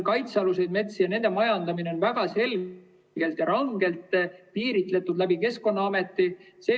Kaitsealused metsad ja nende majandamine on väga selgelt ja rangelt piiritletud Keskkonnaameti kaudu.